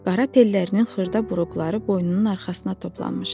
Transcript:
Qara tellərinin xırda buruqları boynunun arxasına toplanmışdı.